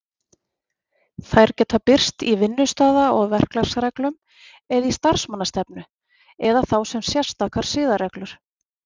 Þær geta birst í vinnustaða- og verklagsreglum eða í starfsmannastefnu, eða þá sem sérstakar siðareglur.